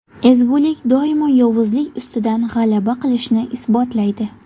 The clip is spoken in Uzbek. Ezgulik doimo yovuzlik ustidan g‘alaba qilishini isbotlaydi.